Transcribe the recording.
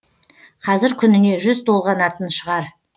қазір күніне жүз толғанатын шығар